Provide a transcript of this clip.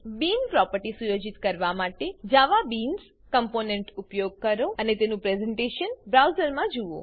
બીન property સુયોજિત કરવા માટે જવાબીન્સ કોમ્પોનન્ટ જાવાબીન્સ કમ્પોનેંટ નો ઉપયોગ કરો અને તેનું પ્રેઝેન્ટેશન બ્રાઉઝરમાં જુઓ